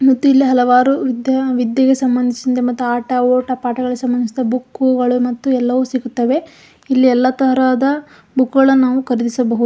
ಮತ್ತೆ ಇಲ್ಲಿ ಹಲವಾರು ವಿದ್ಯ ವಿದ್ಯೆಗೆ ಸಂಬಂದಿಸಿದ ಮತ್ತ ಆಟ ಓಟ ಪಾಠಗಳಿಗೆ ಸಂಬಂದಿಸಿದ ಬುಕ್ಗಳ ಎಲ್ಲವೂ ಸಿಗುತ್ತದೆ ಇಲ್ಲಿ ಎಲ್ಲ ತರಹದ ಬುಕ್ ಗಳನ್ನೂ ನಾವು ಖರೀದಿಸಬಹುದು--